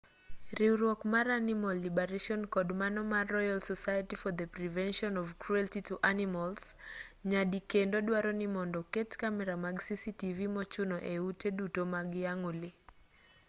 riwruok mar animal liberation kod mano mar royal society for the prevention of cruelty to animals rspca nyadikendo duaro ni mondo oket kamera mag cctv mochuno e ute duto mag yang'o lee